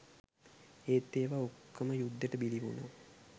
ඒත් ඒවා ඔක්කොම යුද්දෙට බිලි වුණා.